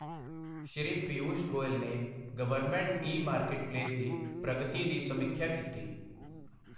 ਸ਼੍ਰੀ ਪੀਊਸ਼ ਗੋਇਲ ਨੇ government e marketplace ਦੀ ਪ੍ਰਗਤੀ ਦੀ ਸਮੀਖਿਆ ਕੀਤੀ